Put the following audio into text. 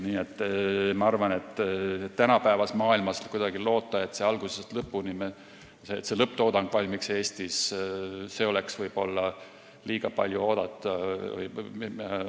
Nii et ma arvan, et tänapäevases maailmas loota, et lõpptoodang valmiks algusest lõpuni Eestis, oleks liiga palju oodata.